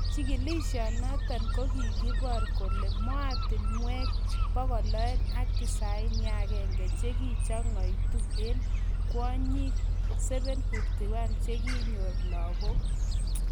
Chigilishonotok kokiipor kole mootinwek 291 chekiyachekitu eng kwonyik 751 chekinyoor lagok